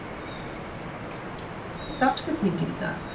Julia, hver er dagsetningin í dag?